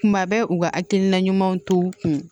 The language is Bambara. Kuma bɛ u ka hakilina ɲumanw to u kun